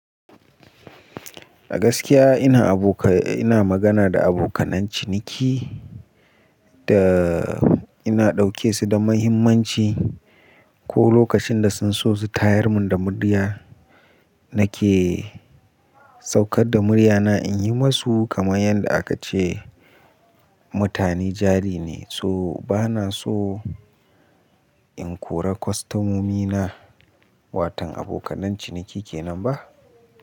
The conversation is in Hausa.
A gaskiya ina aboka-- ina magana da abokanan ciniki da ina ɗauke su da muhimmanci. Ko lokacin da sun so su tayar mun da murya nake saukar da murya na in yi masu kamar yanda aka ce mutane jari ne. So bana so in kora kwastamomi na, watan abokanan ciniki kenan ba?